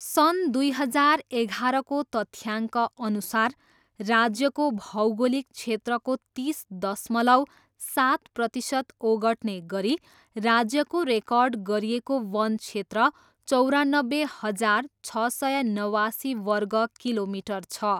सन् दुई हजार एघाह्रको तथ्याङ्कअनुसार, राज्यको भौगोलिक क्षेत्रको तिस दशमलव सात प्रतिसत ओगट्ने गरी राज्यको रेकर्ड गरिएको वन क्षेत्र चौरनब्बे हजार, छ सय नवासी वर्ग किलोमिटर छ।